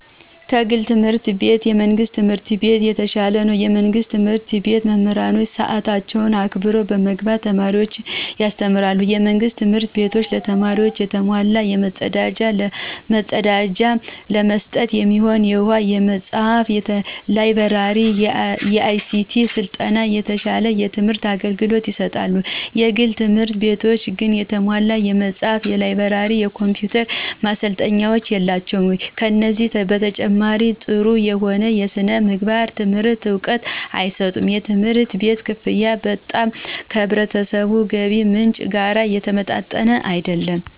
ከግል ትምህርት ቤት የመንግስት ትምህርት ቤት የተሻለ ነው። የመንግስት ትምህርት ቤት መምህሮች ሰአታቸውን አክብረው በመግባት ተማሪዎችን ያስተምራሉ። የመንግስት ትምህርት ቤቶች ለተማሪዎቹ የተሟላ የመፀዳጃ፣ ለመጠጥ የሚሆኑ ውሃ፣ የመፅሃፍ፣ የላይ ብረሪ፣ የአይሲቲ ስልጠና፣ የተሟላ የትምህር አገልግሎት ይሰጣሉ። የግል ትምህርት ቤቶች ግን የተሟላ የመጽሐፍ፣ የላይብረሪ፣ የኮምፒውተር ማሰልጠኛዎች የላቸውም። ከዚህ በተጨማሪ ጠሩ የሆነ የስነምግባር ትምህርት እውቀት አይሰጡም። የትምህርት ቤት ከፍያ በጣም ከህብረተሰቡ የገቢ ምንጭ ጋር የተመጣጠነ አይደለም።